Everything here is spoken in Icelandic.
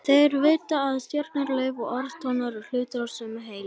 Þeir vita að stjörnur, lauf, orð og tónar eru hluti af sömu heild.